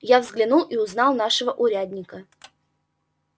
я взглянул и узнал нашего урядника